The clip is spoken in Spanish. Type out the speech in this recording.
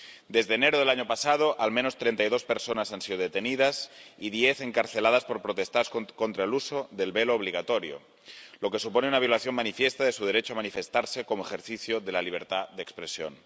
Desde enero del año pasado, al menos treinta y dos personas han sido detenidas, y diez, encarceladas, por protestar contra el uso del velo obligatorio, lo que supone una violación manifiesta de su derecho a manifestarse como ejercicio de la libertad de expresión.